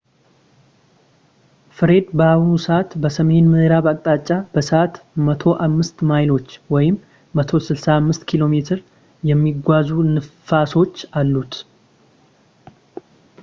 ፍሬድ በአሁን ሰዕት በሰሜን ምዕራብ አቅጣጫ በሰዕት 105 ማይሎች 165 ኪሜ የሚጓዙ ንፋሶች እሉት